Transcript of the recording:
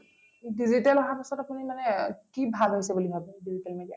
digital আহাৰ পিছত আপুনি মানে কি ভাল হৈছে বুলি ভাবে digital media